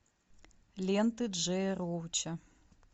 ленты джея роуча